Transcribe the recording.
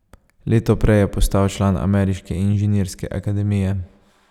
Leto prej je postal član ameriške inženirske akademije.